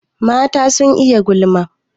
Mata sun iya gulma.